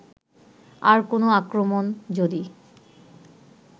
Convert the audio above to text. আর কোন আক্রমণ যদি